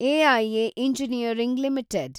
AIA engineering limited